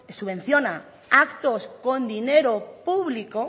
subvenciona actos con dinero público